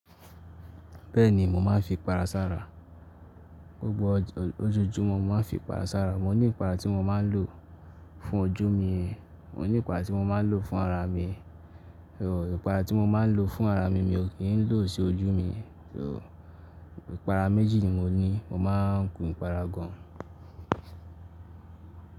Bẹ́ẹ̀ni, mò máa ń fi ipara sára. Ogbó ojújùmọ̀ mò máa ń fi ipara sára. Mò ní ipara tí mò máa ń lò fún ojú mi, mò ní ipara tí mò máa ń lò fún ara mi. Ipara tí mò máa ń lò fún ara mi, mi o kiń lò sí ojú mi. Ipara méjì ni mo ní. Mò máa ń kun ipara gan.